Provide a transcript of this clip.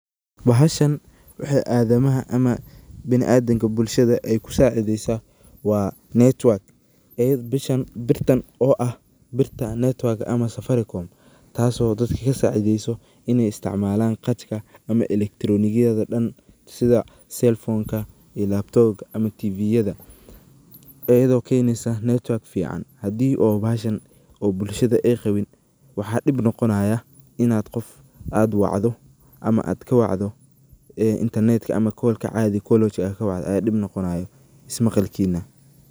Bahashan waxey adamaha ama biniadamka bulshada ay kusacideysa waa Network ee bishaan birtan oo ah birta Network ama Safaricom taso dadka kasacideso iney isticmalan qatka ama elektiriyonada dan sida selponka iyo laptoga ama tv yada ayadoo kenesa Network fican hadii oo bahashan oo bulshada ay qabin waxa dib noqonaya inaad aad qof wacdo ama aad kawacdo intanetka ama kolka adhi kolwajka aad kawacdo ayaa dib noqonayo ismaqalkina.